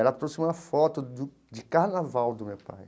Ela trouxe uma foto do de carnaval do meu pai.